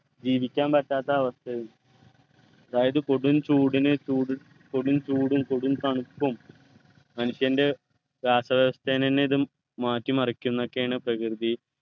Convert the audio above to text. ജീവിക്കാൻ പറ്റാത്ത അവസ്ഥ വരും അതായത് കൊടും ചൂടിനെ ചൂടും കൊടും ചൂടും കൊടും തണുപ്പും മനുഷ്യൻ്റെ രാസ വ്യവസ്ഥാനെന്നെ ഇതു മാറ്റിമറിക്കുന്നൊക്കെയാണ്‌ പ്രകൃതി